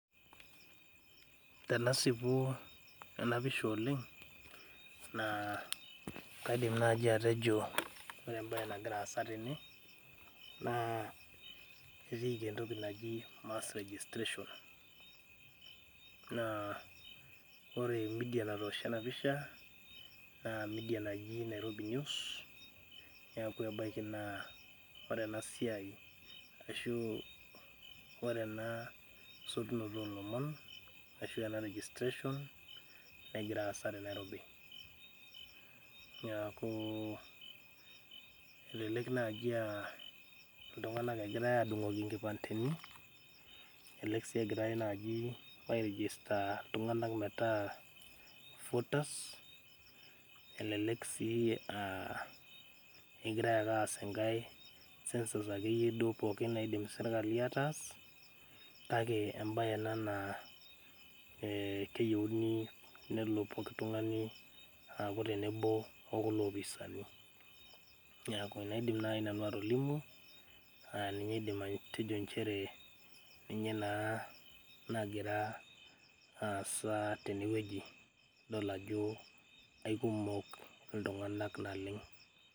Tenasipu ena pisha oleng naa kaidim naaji atejo ore embaye nagira aasa tene naa ketiiki entoki naji mass registration naa ore media natoosho ena pisha naa media naji nairobi news neeku ebaiki naa ore ena siai ashu ore ena sotunoto olomon ashu ena registration negira aasa te nairobi niaku elelek naaji aa iltung'anak egirae adung'oki inkipandeni elelek sii egirae naaji ae register iltung'anak metaa voters elelek sii uh kegirae ake aas enkae census akeyie duo pookin naidim sirkali ataas kake embaye ena naa eh keyieuni nelo poki tung'ani aaku tenebo okulo opisani niaku enaidim naaji nanu atolimu aninye aidim atejo nchere ninye naa nagira aasa tenewueji idol ajo aikumok iltung'anak naleng.